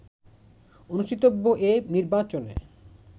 অনুষ্ঠিতব্য এ নির্বাচনে